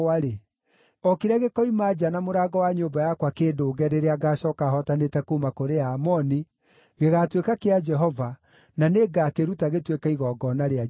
o kĩrĩa gĩkoima nja na mũrango wa nyũmba yakwa kĩndũnge rĩrĩa ngaacooka hootanĩte kuuma kũrĩ Aamoni, gĩgaatuĩka kĩa Jehova, na nĩngakĩruta gĩtuĩke igongona rĩa njino.”